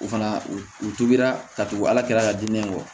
U fana u tugura ka tugu ala kɛra ka diinɛ kɔ